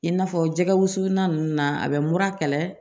I n'a fɔ jɛgɛ wusulan ninnu na a bɛ mura kɛlɛ